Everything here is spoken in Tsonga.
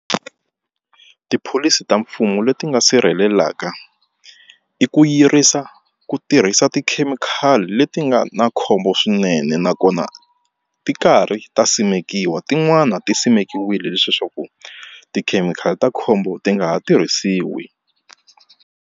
Tipholisi ta mfumo leti nga sirhelelaka i ku yirisa ku tirhisa tikhemikhali leti nga na khombo swinene nakona ti karhi ta simekiwa tin'wani ti simekiweke leswiya swa ku tikhemikhali ta khombo ti nga ha tirhisiwi.